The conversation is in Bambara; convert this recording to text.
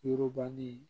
Yurugubali